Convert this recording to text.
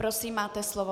Prosím, máte slovo.